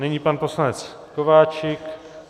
Nyní pan poslanec Kováčik.